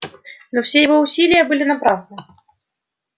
но все его усилия были напрасны